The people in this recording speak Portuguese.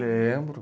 Lembro.